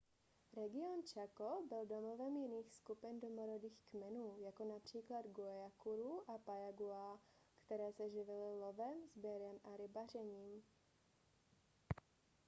region chaco byl domovem jiných skupin domorodých kmenů jako například guaycurú a payaguá které se živily lovem sběrem a rybařením